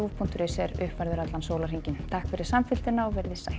punktur is er uppfærður allan sólarhringinn takk fyrir samfylgdina og verið þið sæl